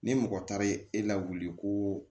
Ni mɔgɔ taara ye e lawuli ko